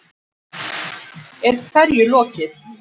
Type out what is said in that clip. Er hverju lokið?